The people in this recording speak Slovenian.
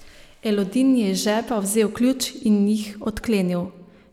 Elodin je iz žepa vzel ključ in jih odklenil.